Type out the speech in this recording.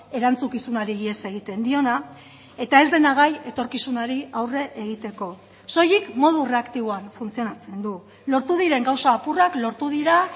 erantzukizunari ihes egiten diona eta ez dena gai etorkizunari aurre egiteko soilik modu erreaktiboan funtzionatzen du lortu diren gauza apurrak lortu dira